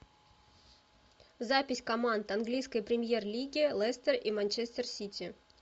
запись команд английской премьер лиги лестер и манчестер сити